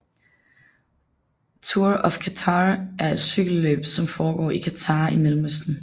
Tour of Qatar er et cykelløb som foregår i Qatar i Mellemøsten